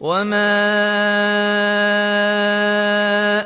وَمَا